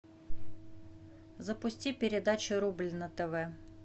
запусти передачу рубль на тв